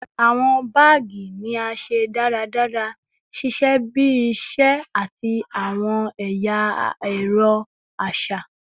Awọn baagi ni a ṣe daradara, ṣiṣẹ bi iṣẹ ṣiṣe ati awọn ẹya ẹrọ aṣa